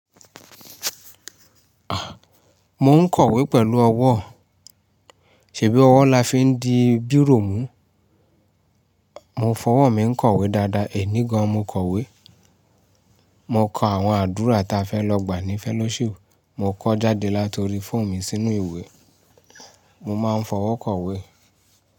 A! Mo ń kọ̀wé pẹ̀lú ọwọ́, ṣèbí ọwọ́ la fi ń di bírò mú? Mo fọwọ́ mi ń kọ̀wé dáadáa, èní gan, mo kọ̀wé. Mo kọ àwọn àdúrà ta fẹ́ lọ gbà ní fellowship, mo kọ jáde láti ori fọ́ọ̀nù mi sínú ìwé. Mo máa ń fọwọ́ kọ̀wé.